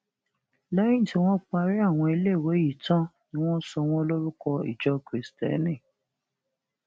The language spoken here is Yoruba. lẹyìn tí wọn parí àwọn iléèwé yìí tán ni wọn sọ wọn lórúkọ ìjọ kristẹni